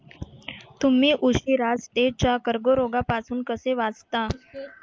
तुम्ही उशिरा त्वचेच्या कर्करोग पासून कसे वाचता?